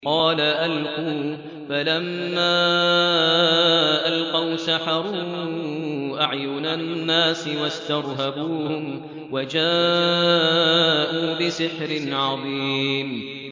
قَالَ أَلْقُوا ۖ فَلَمَّا أَلْقَوْا سَحَرُوا أَعْيُنَ النَّاسِ وَاسْتَرْهَبُوهُمْ وَجَاءُوا بِسِحْرٍ عَظِيمٍ